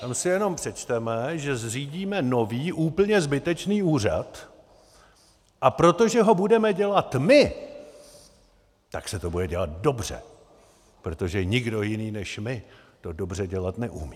Tam si jenom přečteme, že zřídíme nový, úplně zbytečný úřad, a protože ho budeme dělat my, tak se to bude dělat dobře, protože nikdo jiný než my, to dobře dělat neumí.